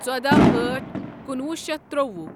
ژودہ أٹھ کنُوہ شیتھ ترٛوُہ